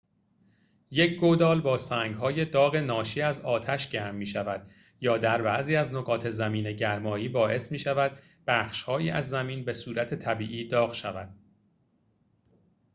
یک گودال با سنگ‌های داغ ناشی از آتش گرم می‌شود یا در بعضی از نقاط زمین‌گرمایی باعث می‌شود بخش‌هایی از زمین به‌صورت طبیعی داغ شود